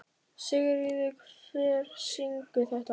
Sigurður, hver syngur þetta lag?